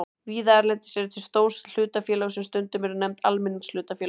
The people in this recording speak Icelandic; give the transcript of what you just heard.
Víða erlendis eru til stór hlutafélög sem stundum eru nefnd almenningshlutafélög.